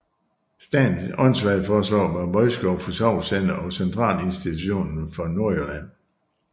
I Statens Åndssvageforsorg var Vodskov forsorgscenter og centralinstitution for Nordjylland